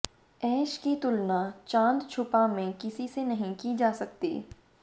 ऐश की तुलना चांद छुपा में किसी से नहीं की जा सकती